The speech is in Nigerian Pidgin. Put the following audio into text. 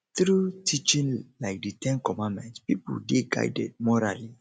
through teaching like di ten commandment pipo dey guided morally